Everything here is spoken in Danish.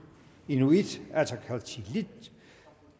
inuit ataqatigiit